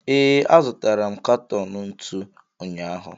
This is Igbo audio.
ee, azụtara m katọn ntu ụnyaahụ